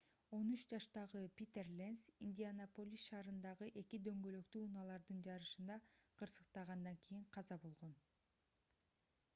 13 жаштагы питер ленц индианаполис шаарындагы эки дөңгөлөктүү унаалардын жарышында кырсыктагандан кийин каза болгон